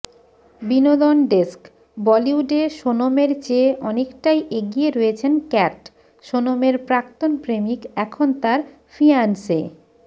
বিনোদন ডেস্কঃ বলিউডে সোনমের চেয়ে অনেকটাই এগিয়ে রয়েছেন ক্যাট সোনমের প্রাক্তন প্রেমিক এখন তাঁর ফিয়াঁন্সে